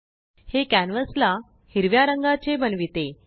हे कॅनवासला हिरव्या रंगाचे बनविते